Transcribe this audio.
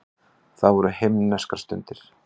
Það voru himneskar stundir.